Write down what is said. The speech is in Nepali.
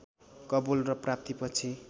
कवोल र प्राप्ति पछि